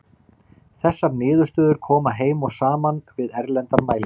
Þessar niðurstöður koma heim og saman við erlendar mælingar.